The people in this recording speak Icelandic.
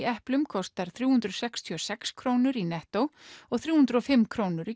eplum kostar þrjú hundruð sextíu og sex krónur í nettó og þrjú hundruð og fimm krónur í